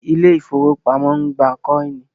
Ilé ifówópamọ́ ń gbà kọ́ìnì